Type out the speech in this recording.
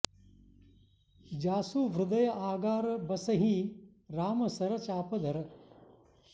जासु हृदय आगार बसहिं राम सर चाप धर